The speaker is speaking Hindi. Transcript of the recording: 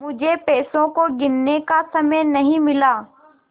मुझे पैसों को गिनने का समय नहीं मिला